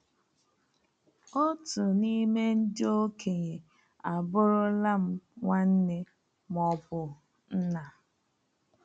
Otu n’ime ndị okenye abụrụla m nwanne ma ọ bụ nna.